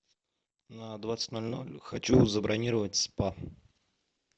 на двадцать ноль ноль хочу забронировать спа